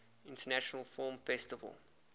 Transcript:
international film festival